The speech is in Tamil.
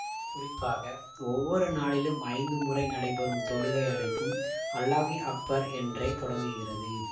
குறிப்பாக ஒவ்வொரு நாளிலும் ஐந்து முறை நடைபெறும் தொழுகை அழைப்பும் அல்லாஹு அக்பர் என்றே தொடங்குகிறது